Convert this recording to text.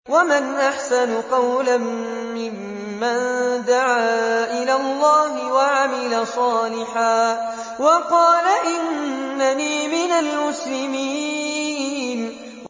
وَمَنْ أَحْسَنُ قَوْلًا مِّمَّن دَعَا إِلَى اللَّهِ وَعَمِلَ صَالِحًا وَقَالَ إِنَّنِي مِنَ الْمُسْلِمِينَ